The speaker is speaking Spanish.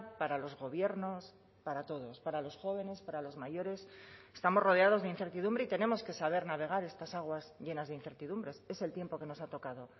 para los gobiernos para todos para los jóvenes para los mayores estamos rodeados de incertidumbre y tenemos que saber navegar estas aguas llenas de incertidumbres es el tiempo que nos ha tocado